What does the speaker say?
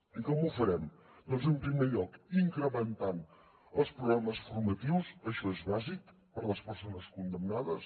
i com ho farem doncs en primer lloc incrementant els programes formatius això és bàsic per a les persones condemnades